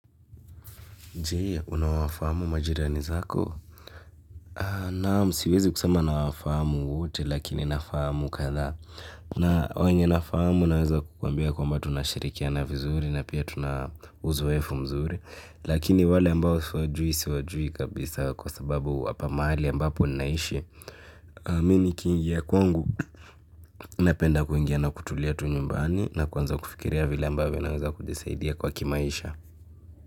Je unawafahamu majirani wako naam siwezi kusema nawafahamu wote lakini nawafahamu kadhaa. Na, wenye nafamu naweza kukwambia kwamba tunashirikiana vizuri, na pia tunauzoefu mzuri. Lakini wale ambao siwajui siwajui kabisa kwa sababu hapa mahali ambapo ninaishi. Mimi ni kiingia kwangu, napenda kuingia na kutulia tu nyumbani, na kuanza kufikiria vile ambaovyo naweza kujisaidia kwa kimaisha.